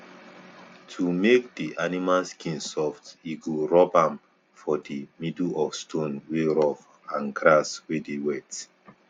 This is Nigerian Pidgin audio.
to make di animal skin soft e go rub am for di middle of stone wey rough and grass wey dey wet